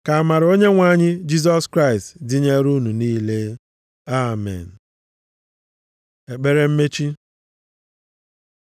Ka amara Onyenwe anyị Jisọs Kraịst dịnyeere unu niile. Amen. + 16:24 Ụfọdụ akwụkwọ na-edebanye nʼamaokwu a Ka amara Onyenwe anyị Jisọs Kraịst dịnyeere unu niile. Amen. Ekpere mmechi